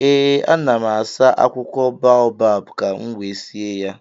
ee, ana m asa akwụkwọ boabab ka m wee sie ya